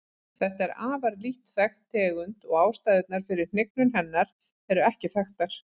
Þetta er afar lítt þekkt tegund og ástæðurnar fyrir hnignun hennar eru ekki þekktar.